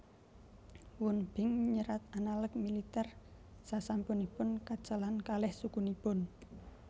Wun Bin nyerat analek militer sasampunipun kécalan kalih sukunipun